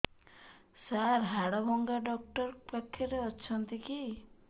ସାର ହାଡଭଙ୍ଗା ଡକ୍ଟର ପାଖରେ ଅଛନ୍ତି କି